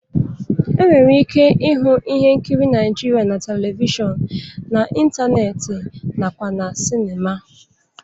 E nwere ike ịhụ ihe nkiri Naịjirịa na Televishọn, n'ịntanetị nakwa na sịnịma.